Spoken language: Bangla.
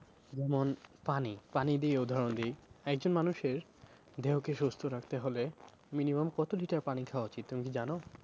যেমন পানি, পানি দিয়ে উদাহরণ দি একজন মানুষের দেহকে সুস্থ রাখতে হলে minimum কত litre পানি খাওয়া উচিত তুমি কি জানো?